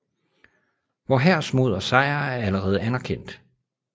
Vor hærs mod og sejr er allerede anerkendt